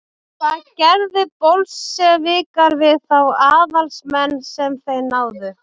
hvað gerðu bolsévikar við þá aðalsmenn sem þeir náðu